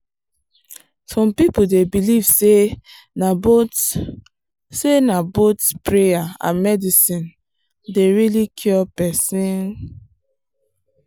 some people dey believe say na both say na both prayer and medicine dey really cure person.